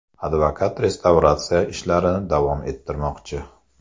Advokat restavratsiya ishlarini davom ettirmoqchi.